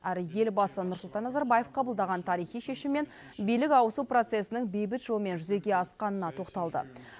әрі елбасы нұрсұлтан назарбаев қабылдаған тарихи шешім мен билік ауысу процесінің бейбіт жолмен жүзеге асқанына тоқталды